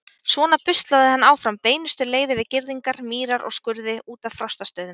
Svona buslaði hann áfram beinustu leið yfir girðingar, mýrar og skurði út að Frostastöðum.